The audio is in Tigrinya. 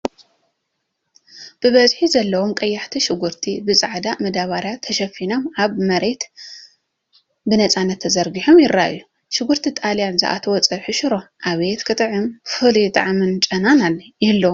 ብዝሒ ዘለዎም ቀያሕቲ ሽጉርቲ ብጻዕዳ መደበርያ ተሸፊኖም ኣብ መሬት ብናጽነት ተዘርጊሖም ይረኣዩ። ሽጉርቲ ጣልያን ዝኣተዎ ፀብሒ ሽሮ ኣብየት ክጥዕም...ፍሉይ ጣዕምን ጨናን ይህልዎ...